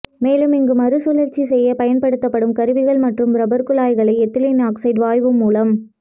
மேலும் இங்கு மறுசுழற்சி செய்து பயன்படுத்தப்படும் கருவிகள் மற்றும் ரப்பா் குழாய்களை எத்திலின் ஆக்சைடு வாயு மூலம்